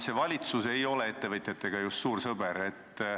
See valitsus ei ole ettevõtjatega just suur sõber.